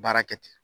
Baara kɛ ten